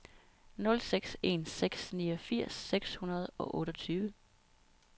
nul seks en seks niogfirs seks hundrede og otteogtyve